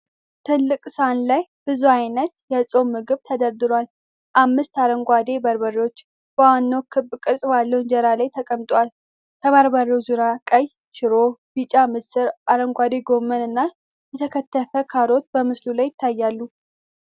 ትልቅ ሰሃን ላይ ብዙ አይነት የፆም ምግብ ተደርድሯል። አምስት አረንጓዴ በርበሬዎች በዋናው ክብ ቅርጽ ባለው እንጀራ ላይ ተቀምጠዋል። ከበርበሬው ዙሪያ ቀይ ሽሮ፣ ቢጫ ምስር፣ አረንጓዴ ጎመን እና የተከተፈ ካሮት በምስሉ ላይ ይታያሉ።